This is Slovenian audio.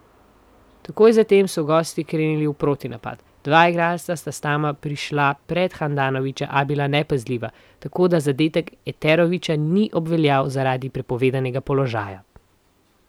Takoj zatem so gosti krenili v protinapad, dva igralca sta sama prišla pred Handanovića, a bila nepazljiva, tako da zadetek Eterovića ni obveljal zaradi prepovedanega položaja.